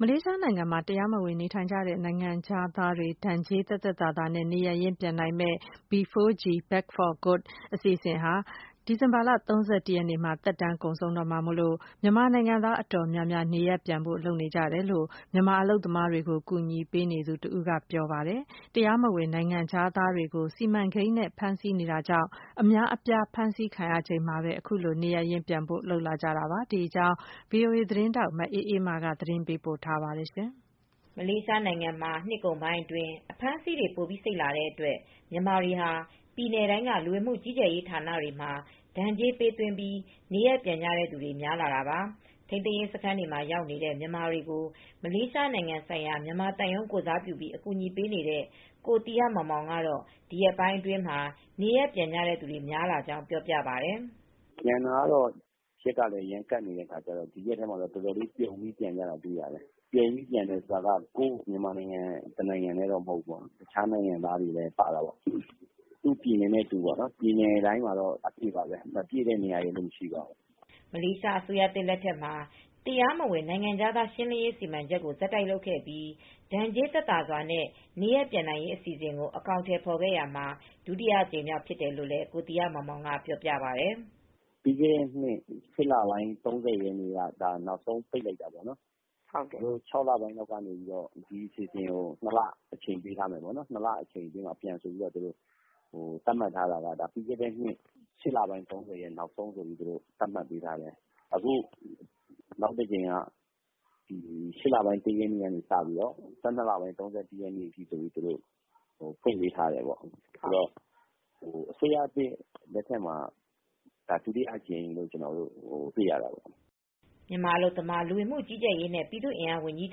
မလေးရှားနိုင်ငံမှာ တရားမဝင်နေထိုင်နေတဲ့ နိုင်ငံခြားသားတွေ ဒဏ်ကြေးသက်သက်သာသာနဲ့ နေရပ်ရင်းပြန်နိုင်မယ့် B4G (Back For Good) အစီအစဉ်ဟာ ဒီဇင်ဘာလ ၃၁ ရက်နေ့မှာ သက်တမ်းကုန်ဆုံးတော့မှာမို့ မြန်မာနိုင်ငံသား အတော် များများ နေရပ်ပြန်ဖို့လုပ်နေကြတယ်လို့ မြန်မာအလုပ်သမားတွေကို အကူအညီပေးနေသူတဦးက ပြောပါတယ်။ တရားမဝင် နိုင်ငံ ခြားသားတွေကို စီမံကိန်းနဲ့ဖမ်းဆီးတာကြောင့် အများအပြား ဖမ်းဆီးခံရပြီးချိန်မှာပဲ အခုလို နေရပ်ရင်းပြန်ဖို့ လုပ်လာကြတာပါ။ ဒီအကြောင်း ဗွီအိုအေသတင်းထောက် မအေးအေးမာက သတင်းပေးပို့ထားပါတယ်။ မလေးရှားနိုင်ငံမှာ နှစ်ကုန်ပိုင်းအတွင်း အဖမ်းအဆီးတွေ ပိုပြီးစိတ်လာတဲ့အတွက် မြန်မာနိုင်ငံသားတွေဟာ မလေးရှား ပြည်နယ် တိုင်းက လူဝင်မူကြီးကြပ်ရေးဌာနတွေမှာ ဒဏ်ကြေးပေးသွင်းပြီး နေရပ်ပြန်ကြသူတွေ များလာတာပါ။ ထိန်းသိမ်းရေးစခန်းတွေမှာ ရောက်နေတဲ့ မြန်မာနိုင်ငံသားတွေကို မလေးရှားနိုင်ငံဆိုင်ရာ မြန်မာသံရုံး ကိုယ်စားပြုပြီး အကူအညီပေးနေတဲ့ ကိုသီဟမောင်မောင်က ဒီရက်ပိုင်းတွေအတွင်း နေရပ်ပြန်သူ များလာတာကို အခုလို အတည်ပြု ပြောပါ တယ်။ “ပြန်တာကတော့ ရက်ကလည်း ကပ်နေတဲ့အခါကျတော့ ဒီရက်ထဲမှာ ပြုံပြီးပြန်နေတာတွေ့ရတယ်။ ပြုံပြီးပြန်တယ်ဆိုတာကတော့ ကိုယ်နိုင်ငံသားတွေချည်းမဟုတ်ဘူး၊ တခြားနိုင်ငံသားတွေလည်း ပြန်ကြတယ်၊ သူ့ပြည်နယ်နဲ့သူပေါ့၊ ပြည်နယ်တိုင်းမှာရှိတယ်၊ ပြည်နယ်တိုင်းမှာ မပြည့်တဲ့ပြည်နယ်မရှိဘူး။” မလေးရှားအစိုးရသစ်လက်ထက်မှာ တရားမဝင်နိုင်ငံခြားသား ရှင်းလင်းရေးစီမံချက်ကို ဆက်တိုက်လုပ်ခဲ့ပြီး ဒဏ်ကြေးသက်သာ စွာနဲ့ နေရပ်ပြန်နိုင်ရေးအစီအစဉ်ကို အကောင်အထည်ဖော်တာ ဒါဟာ ဒုတိယအကြိမ်မြောက် ဖြစ်တယ်လို့လည်း ကိုသီဟ မောင်မောင်ကပြောပါတယ်။ “ပြီးခဲ့တဲ့နှစ် ၈ လပိုင်း ၃၀ ရက်နေ့က နောက်ဆုံးပိတ်လိုက်တာ၊ ပြီးခဲ့တဲ့ ၆ လပိုင်းတုန်းက ပြန်ဖို့အတွက် နှစ်လလောက် သတ်မှတ်ပေးထားတာက ပြီးခဲ့တဲ့နှစ် ၈ လပိုင်း ၃၀ ရက်နေ့ နောက်ဆုံးသတ်မှတ်ပေးခဲ့တာ။ နောက်တကြိမ်ကတော့ (ဒီနှစ်) ၈ လပိုင်း ၃၀ ရက်နေ့ကနေ ၁၂ လပိုင်း ၃၁ ရက်အထိ ပြန်ဖို့သတ်မှတ်ပေးထားတာ၊ အစိုးရသစ်လက်ထက်မှာ ဒုတိယအကြိမ် အဖြစ် ကျနော်တို့တွေ့ရပါတယ်။” မြန်မာနိုင်ငံ၊ အလုပ်သမား လူဝင်မူကြီးကြပ်ရေးနဲ့ ပြည်သူ့အင်အားဝန်ကြီး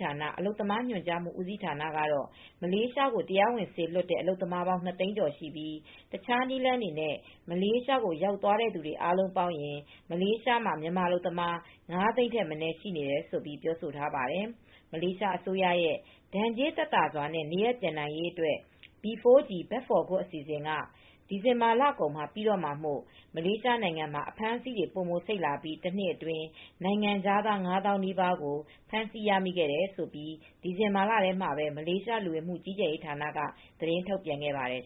ဌာန၊ အလုပ်သမားညွန်ကြားမူဦးစီးဌာနရဲ့ တရားဝင် ကိန်းဂဏန်းတွေအရ မလေးရှားကို တရားဝင်စေလွှတ်တဲ့ အလုပ်သမားပေါင်း ၂၀၀,၀၀၀ ကျော်ရှိပြီး တခြားနည်းလမ်းတွေနဲ့ မလေးရှားကိုရောက်သွားသူ အားလုံးပေါင်းရင် မလေးရှားမှာ မြန်မာနိုင်ငံသားအလုပ်သမား ၅၀၀,၀၀၀ ထက်မနည်း ရှိနေတယ်လို့ ပြောဆိုထားပါတယ်။ ဒဏ်ကြေးသက်သာစွာနဲ့ နေရပ်ပြန်နိုင်ရေး မလေးရှားအစိုးရရဲ့ B4G (Back For Good) အစီအစဉ်က ဒီဇင်ဘာကုန်မှာ ပြီးတော့မှာမို့မလေးရှားနိုင်ငံမှာ အဖမ်းအဆီး ပိုစိတ်လာပြီး တနှစ်အတွင်း နိုင်ငံခြားသား ၅၀,၀၀၀ နီးပါးကို ဖမ်းဆီး ရမိခဲ့တယ်လို့ ဒီဇင်ဘာလထဲမှာပဲ မလေးရှား လူဝင်မူကြီးကြပ်ရေးဌာနက သတင်းထုတ်ပြန်ထားပါတယ်